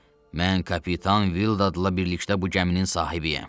Mən kapitan Villadla birlikdə bu gəminin sahibiyəm.